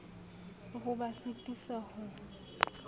le ho ba sitisa ho